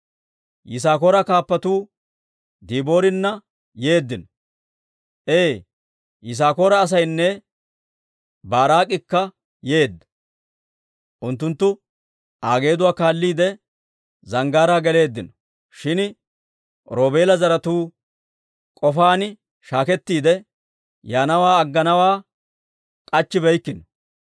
Yisaakoora kaappatuu Diboorina yeeddino; ee, Yisaakoora asaynne Baaraak'ikka yeedda; unttunttu Aa geeduwaa kaalliide, zanggaaraa geleeddino. Shin Roobeela zaratuu k'ofaan shaakettiide, yaanawaa agganawaa k'achchibeykkino.